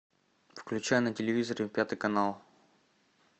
включай на телевизоре пятый канал